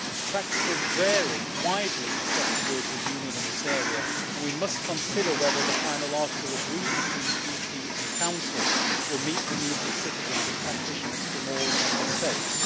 Practices vary widely across the European Union in this area, and we must consider whether the final article agreed between Parliament and Council will meet the needs of citizens and practitioners from all Member States.